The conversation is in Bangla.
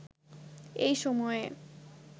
এই সময়ের